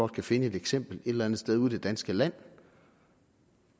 kan finde et eksempel et eller andet sted ude i det danske land